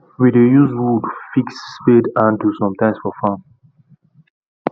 we dey use wood fix spade handle sometimes for farm